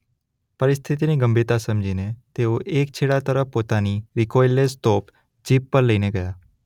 પરિસ્થિતિની ગંભીરતા સમજીને તેઓ એક છેડા તરફ પોતાની રિકોઈલલેસ તોપ જીપ પર લઈને ગયા.